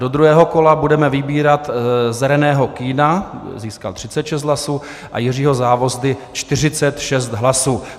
Do druhého kola budeme vybírat z Reného Kühna, získal 36 hlasů, a Jiřího Závozdy, 46 hlasů.